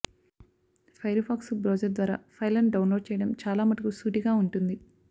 Firefox browser ద్వారా ఫైళ్ళను download చేయడం చాలా మటుకు సూటిగా ఉంటుంది